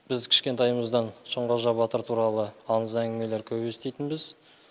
біз кішкентайымыздан шыңқожа батыр туралы аңыз әңгімелер көп еститінбіз